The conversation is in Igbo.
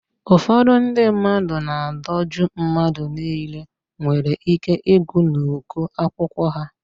Ụfọdụ ndị mmadụ na-adọju mmadụ niile nwere ị́ké ịgụ n'uko akwụkwọ ha.